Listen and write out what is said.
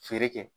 Feere kɛ